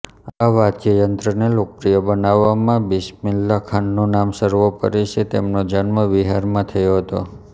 આ વાદ્યયંત્રને લોકપ્રિય બનાવવામાં બિસ્મિલ્લાહ ખાનનું નામ સર્વોપરી છે તેમનો જન્મ બિહારમાં થયો હતો